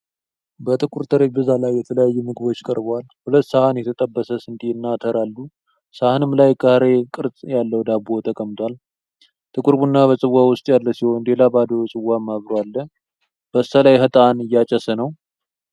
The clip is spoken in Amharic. በጥቁር ጠረጴዛ ላይ የተለያዩ ምግቦች ቀርበዋል። ሁለት ሰሃን የተጠበሰ ስንዴ እና አተር አሉ። ሳህንም ላይ ካሬ ቅርጽ ያለው ዳቦ ተቀምጧል። ጥቁር ቡና በጽዋ ውስጥ ያለ ሲሆን፣ ሌላ ባዶ ጽዋም አብሮ አለ። በስተላይ ዕጣን እያጨሰ ነው።